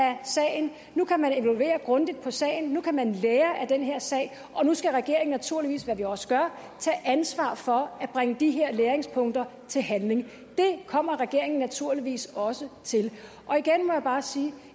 af sagen nu kan man evaluere grundigt på sagen nu kan man lære af den her sag og nu skal regeringen naturligvis hvad vi også gør tage ansvar for at bringe de her læringspunkter til handling det kommer regeringen naturligvis også til igen må jeg bare sige